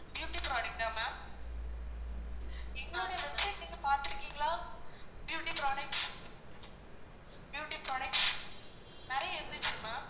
beauty product ஆ ma'am, எங்களுடைய website நீங்க பாத்துருகீங்களா? beauty products beauty products, நெறைய இருந்துச்சு ma'am